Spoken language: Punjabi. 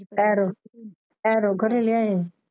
ਐਰੋ ਘਰੇ ਲਿਆਏ।